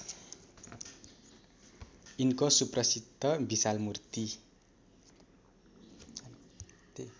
यिनको सुप्रसिद्ध विशालमूर्ति